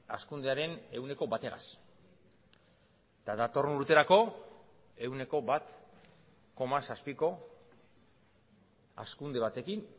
hazkundearen ehuneko bategaz eta datorren urterako ehuneko bat koma zazpiko hazkunde batekin